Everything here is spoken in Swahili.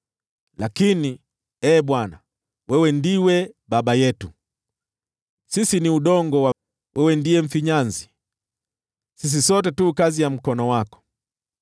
Lakini, Ee Bwana , wewe ndiwe Baba yetu. Sisi ni udongo, wewe ndiye mfinyanzi; sisi sote tu kazi ya mkono wako.